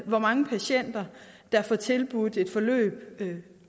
hvor mange patienter der får tilbudt et forløb